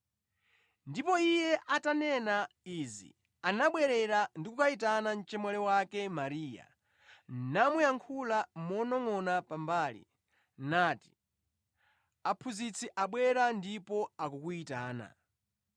Ndipo iye atanena izi anabwerera ndi kukayitana mchemwali wake Mariya namuyankhula monongʼona pambali, nati, “Aphunzitsi abwera ndipo akukuyitana.”